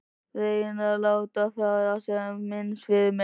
Reyni að láta fara sem minnst fyrir mér.